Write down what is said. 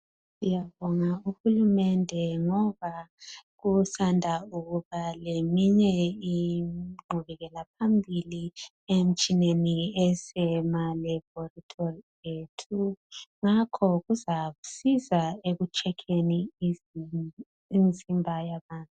Siyabonga uhulumende ngoba kusanda ukuba leminye inqubekela phambili emtshineni esema laboratory yethu. Ngakho kuzasisiza ekutshekeni imzimba yabantu.